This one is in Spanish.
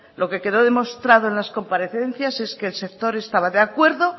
lo que quedó demostrado en las comparecencias es que el sector estaba de acuerdo